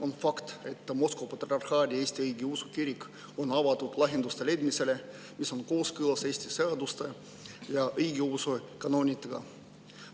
On fakt, et Moskva Patriarhaadi Eesti Õigeusu Kirik on avatud lahenduste leidmisele, mis on kooskõlas Eesti seaduste ja õigeusu kaanonitega.